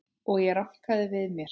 Og ég rankaði við mér.